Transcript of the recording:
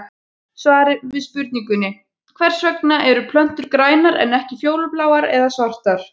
Í svari við spurningunni Hvers vegna eru plöntur grænar en ekki fjólubláar eða svartar?